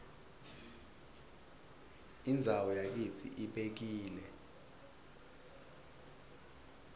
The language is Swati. indzawo yakitsi ibekile